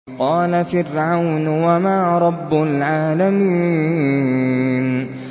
قَالَ فِرْعَوْنُ وَمَا رَبُّ الْعَالَمِينَ